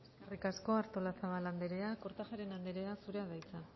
eskerrik asko artolazabal andrea kortajarena andrea zurea da hitza